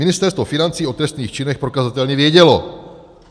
- Ministerstvo financí o trestných činech prokazatelně vědělo.